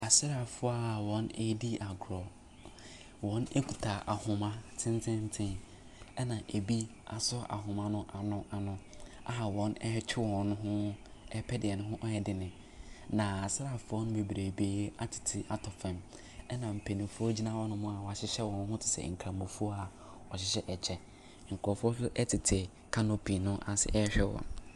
Asraafoɔ a wɔredi agorɔ. Wɔkita akoma tententen, ɛna ɛbi asɔ ahoma no ano ano a wɔretwe wɔn ho pɛ deɛ ne ho yɛ den. Na asraafoɔ bebrebee atete atɔ fam, ɛna mpanimfoɔ gyina hɔnom a wɔahyehyɛ wɔn ho te sɛ nkramofoɔ a wɔhyehyɛ ɛkyɛ. Nkurɔfoɔ nso tete canopy no ase rehyɛ wɔn.